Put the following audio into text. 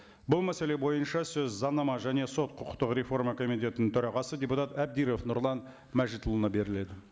бұл мәселе бойынша сөз заңнама және сот құқықтық реформа комитетінің төрағасы депутат әбдіров нұрлан мәжітұлына беріледі